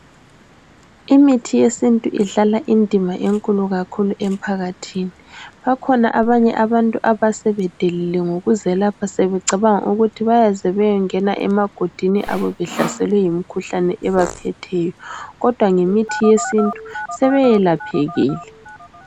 Imithi yesintu idlala indima enkulu kakhulu emphakathini. Bakhona abanye abantu abasebedelile ngokuzelapha sebecabanga ukuthi bayaze bayengena emagodini abo behlaselwe yimkhuhlane ebaphetheyo, kodwa ngemithi yesintu sebeyelaphekile.